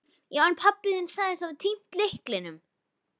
Já, en pabbi þinn sagðist hafa týnt lyklinum.